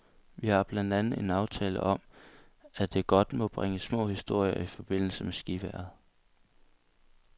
Vi har blandt andet en aftale om, at det godt må bringe små historier i forbindelse med skivejret.